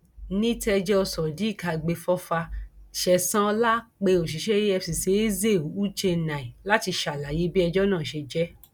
ní tẹjọ sodiq agbèfọfà sẹsan ọlá pé òṣìṣẹ efcc eze u chennai láti ṣàlàyé bí ẹjọ náà ṣe jẹ